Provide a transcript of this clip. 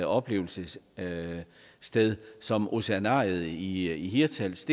oplevelsessted som oceanariet i hirtshals